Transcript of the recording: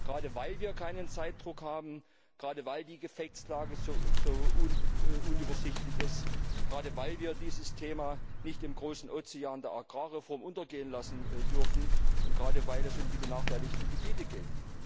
Gerade weil wir keinen Zeitdruck haben, gerade weil die Gefechtslage so unübersichtlich ist, gerade weil wir dieses Thema nicht im großen Ozean der Agrarreform untergehen lassen dürfen, und gerade weil es um die benachteiligten Gebiete geht.